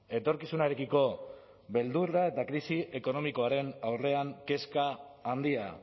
etorkizunarekiko beldurra eta krisi ekonomikoaren aurrean kezka handia